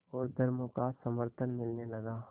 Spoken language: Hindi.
और धर्मों का समर्थन मिलने लगा